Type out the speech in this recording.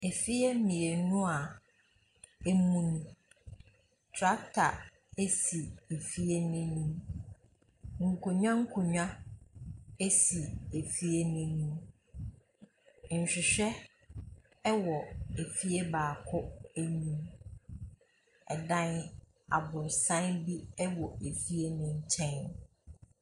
Ɛfie mienu ɛmu ni, trakta ɛsi ɛfie no anim, nkonwa nkonwa ɛsi ɛfie no anim, nhwehwɛ ɛwɔ ɛfie baako anim. Ɛdan aborosan bi ɛwɔ ɛfie no nkyɛn.